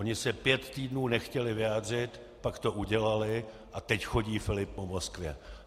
Oni se pět týdnů nechtěli vyjádřit, pak to udělali, a teď chodí Filip po Moskvě.